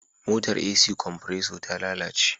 motar AC kwanpreso ta lalace